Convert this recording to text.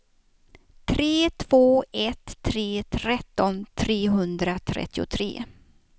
tre två ett tre tretton trehundratrettiotre